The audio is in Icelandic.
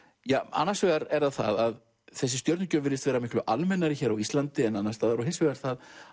annars vegar er það að þessi stjörnugjöf virðist vera miklu almennari á Íslandi en annars staðar og hins vegar það